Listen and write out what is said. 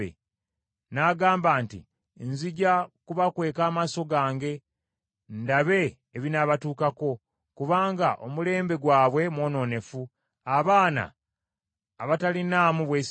N’agamba nti, Nzija kubakweka amaaso gange ndabe ebinaabatuukako; kubanga omulembe gwabwe mwonoonefu, abaana abatalinaamu bwesigwa.